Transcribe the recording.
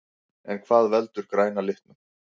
En hvað veldur græna litnum?